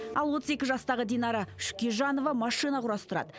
ал отыз екі жастағы динара шүкежанова машина құрастырады